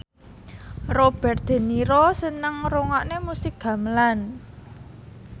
Robert de Niro seneng ngrungokne musik gamelan